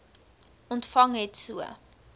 ontvang het so